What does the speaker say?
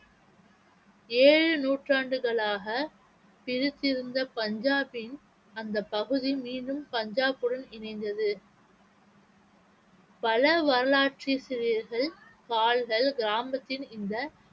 ஏழு நூற்றாண்டுகளாக பிரித்திருந்த பஞ்சாபின் அந்தப் பகுதி மீண்டும் பஞ்சாபுடன் இணைந்தது பல வரலாற்றாசிரியர்கள் கிராமத்தின் இந்த